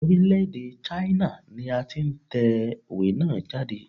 Orílè-èdè China ni a ti n tèwé náà jáde